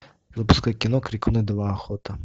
запускай кино крикуны два охота